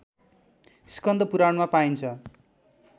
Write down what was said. स्कन्द पुराणमा पाइन्छ